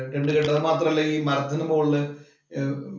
Tent കെട്ടുക മാത്രമല്ല. ഈ മരത്തിന്‍റെ മൊകളില് ഏർ